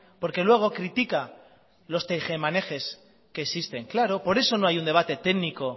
porque luego critica los tejemanejes que existen claro por eso no hay un debate técnico